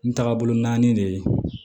N tagabolo naani de ye